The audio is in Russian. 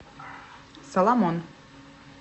соломон